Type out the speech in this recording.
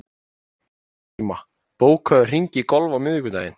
Kolgríma, bókaðu hring í golf á miðvikudaginn.